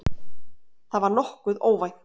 Það var nokkuð óvænt